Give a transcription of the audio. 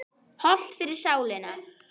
Hollt fyrir sálina.